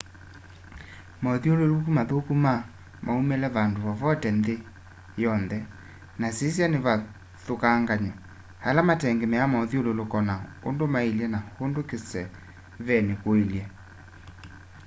maũthũlũlũko mathũkũ na maũmĩle vandũ vovote nthĩ yo nthe na nĩsya kĩvathũkanganyo ala matengemea maũthũlũlũko na ũndũ maĩlye na ũndũ kĩsevenĩ kũĩlye